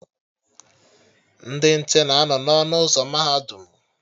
Ndị nche na anọ n'ọnụ ụzọ mahadum